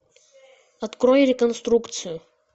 открой реконструкцию